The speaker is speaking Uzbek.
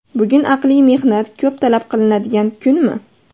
Bugun aqliy mehnat ko‘p talab qilinadigan kunmi?